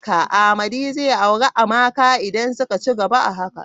Amadi zai auri Amaka idan suka cigaba a haka.